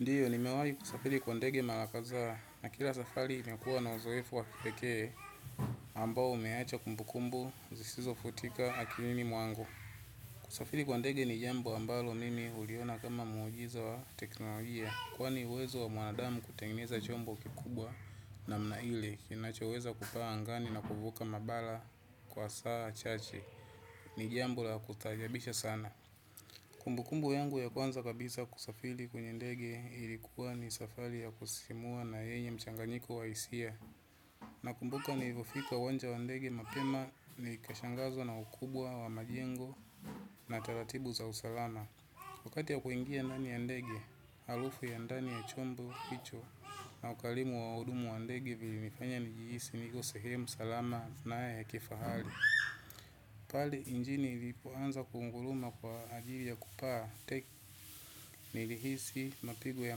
Ndio, nimewahi kusafiri kwa ndege mara kadhaa na kila safari imekuwa na uzoefu waki pekee ambao umeacha kumbukumbu zisizo futika akilini mwangu. Kusafiri kwa ndege ni jambo ambalo mimi huliona kama muujiza wa teknolojia kwani uwezo wa mwanadamu kutengeneza chombo kikubwa namna ile kinachoweza kupaa angani na kuvuka mabara kwa saa chache. Ni jambo la kustaajabisha sana. Kumbukumbu yangu ya kwanza kabisa kusafiri kwenye ndege ilikuwa ni safari ya kusisimua na yenye mchanganiko wa hisia. Na kumbuka nilivyofika uwanja wa ndege mapema ni kashangazwa na ukubwa wa majengo na taratibu za usalama. Wakati wa kuingia ndani ya ndege, halufu ya ndani ya chombo, hicho na ukalimu wa wahudumu wa ndege vilinifanya nijihisi niko sehemu salama na ya kifahali pale injini ilipoanza kunguluma kwa ajili ya kupaa tek nilihisi mapigo ya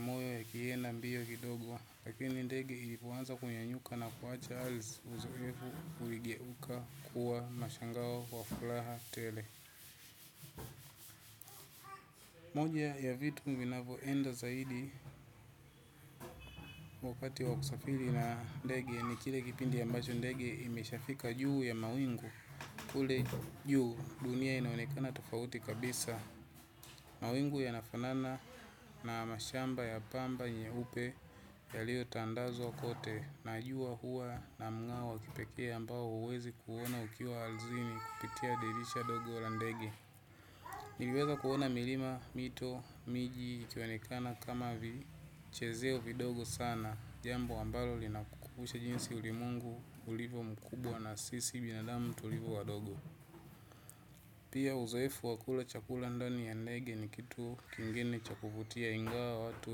moyo yakienda mbio kidogo, lakini ndege ilipoanza kunyanyuka na kuacha ardhi uzoefu uligeuka kuwa mashangao wa furaha tele. Moja ya vitu vinavyo enda zaidi wakati wa kusafiri na ndege ni kile kipindi ambacho ndege imeshafika juu ya mawingu. Kule juu dunia inaonekana tofauti kabisa. Mawingu yanafanana na mashamba ya pamba nyeupe yaliyotandazwa kote. Najua huwa na mngao wa kipekee ambao huwezi kuuona ukiwa ardhini kupitia dirisha dogo la ndege. Niliweza kuona milima, mito, miji, ikionekana kama vichezeo vidogo sana. Jambo ambalo linakukubusha jinsi ulimwengu ulivyo mkubwa na sisi binadamu tulivyo wadogo. Pia uzoefu wa kula chakula ndani ya ndege ni kitu kingene cha kuvutia ingawa watu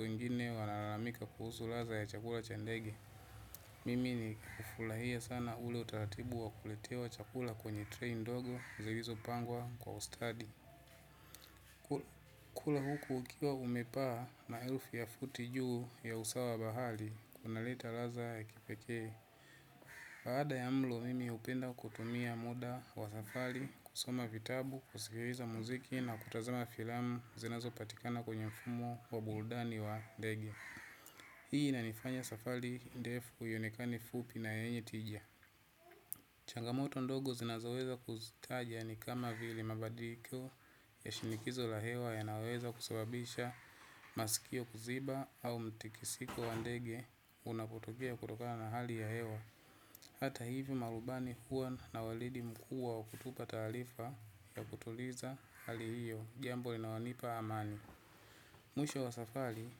wengine wanalalamika kuhusu ladha ya chakula cha ndege mimi nilifurahia sana ule utaratibu wa kuletewa chakula kwenye treni ndogo zilizopangwa kwa ustadi kula huku ukiwa umepaa na ma elfu ya futi juu ya usawa bahari inaleta ladha ya kipekee baada ya mlo mimi hupenda kutumia muda wa safari kusoma vitabu, kusikiliza muziki na kutazama filamu zinazo patikana kwenye mfumo wa burudani wa ndege. Hii ina nifanya safari defu ionekane fupi na yenye tija. Changamoto ndogo zinazoweza kuzitaja ni kama vili mabadiko ya shinikizo la hewa yanayoweza kusababisha masikio kuziba au mtikisiko wa ndege unapotokea kutokana hali ya hewa. Hata hivyo marubani huwa na walidi mkuu wa kutupa taarifa ya kutuliza hali hiyo jambo linaonipa amani. Mwisho wa safari,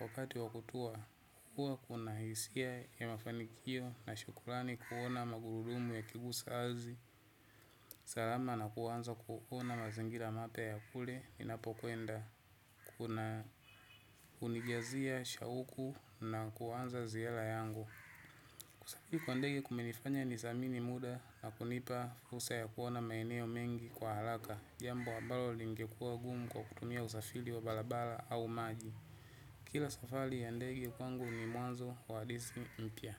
wakati wakutua, huwa kuna hisia ya mafanikio na shukurani kuona magurudumu ya kiguza aridhi, salama na kuwanza kuona mazingira mapya ya kule, ninapokwenda, kuna kunijazia shauku na kuwanza ziala yangu. Kusafiri kwa ndege kumenifanya nizamini muda na kunipa fursa ya kuona maeneo mengi kwa halaka, jambo ambalo lingekua gumu kwa kutumia usafili wa balabala au maji. Kila safari ya ndege kwangu ni mwazo wahadisi mpya.